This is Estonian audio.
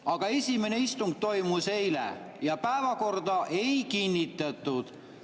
" Aga esimene istung toimus eile ja päevakorda ei kinnitatud.